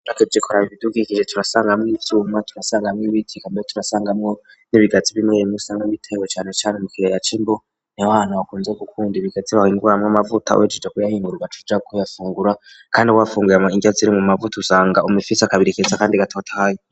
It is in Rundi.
Ugerageje kuraba ibidukikije, turasangamwo ivyuma, turasangamwo ibiti, turasangamwo ibigazi bimwebimwe usanga bitewe cane cane mukiyaya c'Imbo, niho hantu ukunze gukunda ibigazi bahinguramwo amavuta, bahejeje kuyahingura ugaca uja kuyafungura, kandi iyo wafunguye indya zirimwo amavuta, usanga uguma ufise akabiri keza kandi gatotahaye.